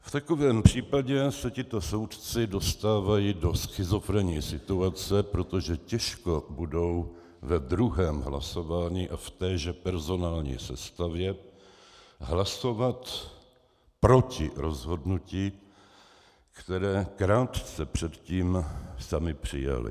V takovém případě se tito soudci dostávají do schizofrenní situace, protože těžko budou v druhém hlasování a v téže personální sestavě hlasovat proti rozhodnutí, které krátce předtím sami přijali.